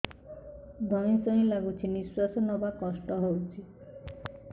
ଧଇଁ ସଇଁ ଲାଗୁଛି ନିଃଶ୍ୱାସ ନବା କଷ୍ଟ ହଉଚି